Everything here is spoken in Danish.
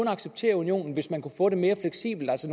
acceptere unionen hvis man kunne få det mere fleksibelt altså